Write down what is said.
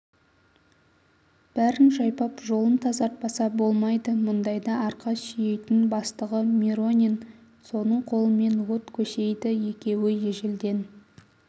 бәрін жайпап жолын тазартпаса болмайды мұндайда арқа сүйейтін бастығы миронин соның қолымен от көсейді екеуі ежелден